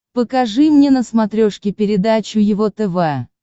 покажи мне на смотрешке передачу его тв